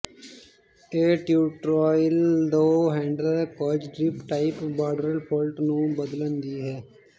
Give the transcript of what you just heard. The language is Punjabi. ਇਹ ਟਿਊਟੋਰਿਯਲ ਦੋ ਹੈਂਡਲ ਕਾਰਟ੍ਰੀਜ ਟਾਈਪ ਬਾਡਰਲ ਫੋਲਟ ਨੂੰ ਬਦਲਣ ਦੀ ਹੈ